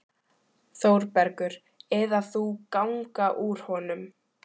ÞÓRBERGUR: Eða þú ganga úr honum.